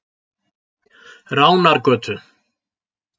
Ránargötu